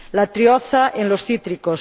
la Trioza en los cítricos